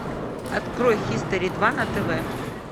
открой хистори два на тв